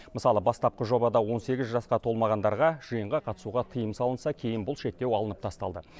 мысалы бастапқы жобада он сегіз жасқа толмағандарға жиынға қатысуға тыйым салынса кейін бұл шектеу алынып тасталды